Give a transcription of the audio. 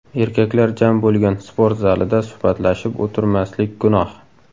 Erkaklar jam bo‘lgan sport zalida suhbatlashib o‘tirmaslik gunoh.